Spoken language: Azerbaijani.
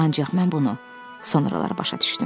Ancaq mən bunu sonralar başa düşdüm.